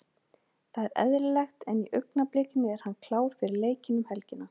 Það er eðlilegt en í augnablikinu er hann klár fyrir leikinn um helgina.